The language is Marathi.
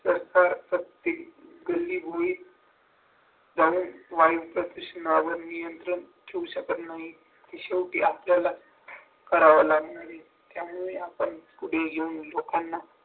तर जाऊन वायु प्रदूषणावर नियंत्रण ठेवू शकत नाही ते शेवटी आपल्याला करावं लागतं आणि आपण पुढे घेऊन लोकांना